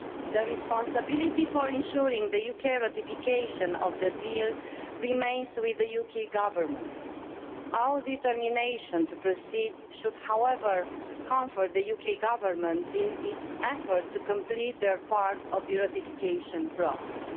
The responsibility for ensuring the UK ratification of the deal remains with the UK Government. Our determination to proceed should, however, comfort the UK Government in its effort to complete its part of the ratification process.